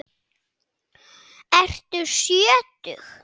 Ertu sjötug?